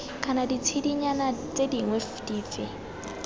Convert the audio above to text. kana ditshedinyana tse dingwe dife